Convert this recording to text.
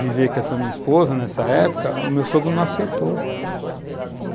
viver com essa minha esposa nessa época, o meu sogro não aceitou.